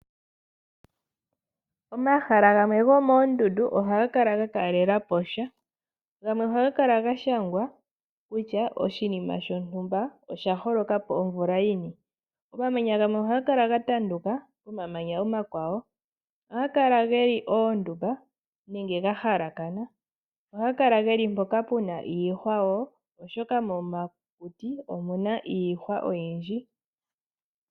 Omahala gamwe gomoondundu ohaga kala ga kalelapo sha. Gamwe ohaga kala ga shangwa kutya oshinima shontumba osha holokapo omvula yini. Omamanya gamwe ohaga kala ga tanduka, omamanya omakwawo ohaga kala geli oondumba nenge ga halakana. Ohaga kala geli mpoka pena iihwa wo oshoka momakuti omuna iihwa oyindji.